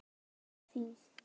Knús til þín.